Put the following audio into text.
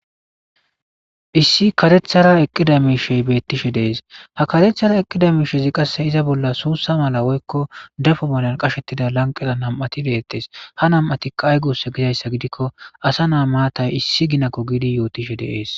issi karethara eqqida miishey beettishe dees ha karethara eqqida miishezi qasse iza bolla suussa mala woykko dafo malan qashettida lanqeda nam7ati beettees ha nam7atikka aygussa gizayssa gidikko asa naa maatay issi ginako giidi yootishe de'ees